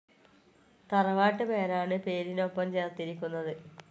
തറവാട്ട് പേരാണ് പേരിനൊപ്പം ചേർത്തിരിക്കുന്നത്.